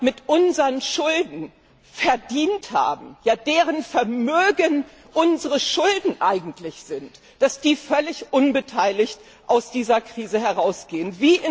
mit unseren Schulden verdient haben, ja deren Vermögen unsere Schulden eigentlich sind, völlig unbeteiligt aus dieser Krise herausgehen.